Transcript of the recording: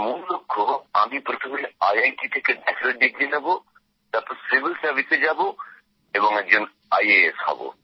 আমার মূল লক্ষ্য আমি প্রথমে আইআইটি থেকে স্নাতক ডিগ্রি নেব তারপর সিভিল সার্ভিসে যাব এবং একজন আইএএস হব